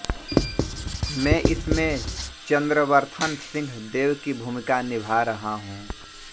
में इसमें चंद्रवर्थन सिंह देव की भूमिका निभा रहा हूँ